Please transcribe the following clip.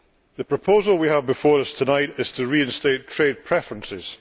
The proposal we have before us tonight is to reinstate trade preferences.